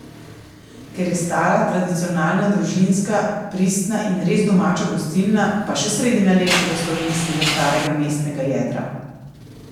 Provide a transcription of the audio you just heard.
Ker je stara, tradicionalna, družinska, pristna in res domača gostilna, pa še sredi najlepšega slovenskega starega mestnega jedra!